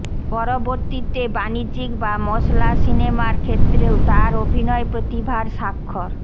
পরবর্তীতে বাণিজ্যিক বা মশলা সিনেমার ক্ষেত্রেও তাঁর অভিনয় প্রতিভার সাক্ষর